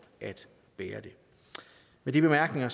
at bære det med de bemærkninger